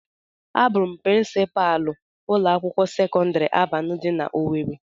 A bụ m prịnsịpalu ụlọ akwụkwọ sekọndrị Alvana dị na owerri.